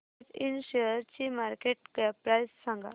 सॅट इंड शेअरची market cap price सांगा